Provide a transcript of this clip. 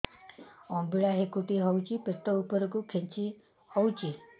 ଅମ୍ବିଳା ହେକୁଟୀ ହେଉଛି ପେଟ ଉପରକୁ ଖେଞ୍ଚି ହଉଚି